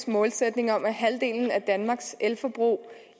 målsætning om at halvdelen af danmarks elforbrug